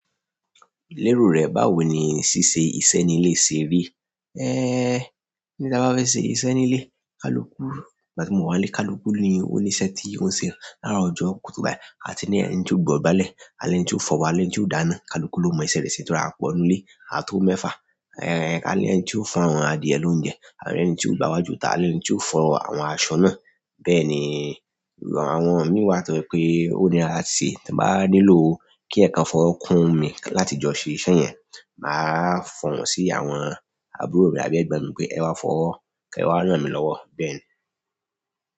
Lérò rẹ, báwo ni ṣíṣe iṣẹ́ ní ilé ṣe rí? Bi ì bá fẹ́ ṣé iṣẹ́ ní ilé, kaluku nígbà tí mo wá ilé kaluku ni ó níṣẹ́ ti ń ṣe lára ọjọ́ kùtù báyìí. A ti ní ẹni tí ó gbudọ̀ gbálẹ̀. A lẹ́ni tí óó fọbọ́, a lẹ́ni tí óó dáná. Kaluku lo mọ iṣẹ́ rẹ ṣe torí a pọ̀ ńnú ilé, a tó mẹ́fà. Àti ẹni tí o ń fọ àwọn adìẹ lóúnjẹ, àti ẹni tí o ń gba iwájú tà, àti ẹni tí o ń fọ àwọn aṣọ náà. Bẹ́ẹ̀ni, àwọn oníwà tó pé ó ní ara ti ṣe. Tí mo bá nílò kí ẹkan fọrọ́ kún mi láti jọ ṣé iṣẹ́ yẹn, màá fọ̀wọ́n sí àwọn àbúrò mi àbí ẹgbọ́n mi pé ẹ wá fọ̀wọ́, kí ẹ wá rán mi lọ́wọ́. Bẹ́ẹ̀ni.